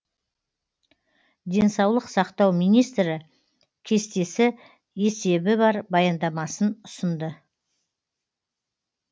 денсаулық сақтау министрі кестесі есебі бар баяндамасын ұсынды